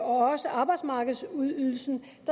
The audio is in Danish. og også arbejdsmarkedsydelsen